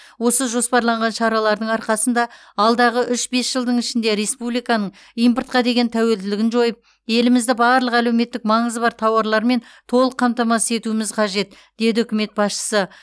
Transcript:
осы жоспарланған шаралардың арқасында алдағы үш бес жылдың ішінде республиканың импортқа деген тәуелділігін жойып елімізді барлық әлеуметтік маңызы бар тауарлармен толық қамтамасыз етуіміз қажет деді үкімет басшысы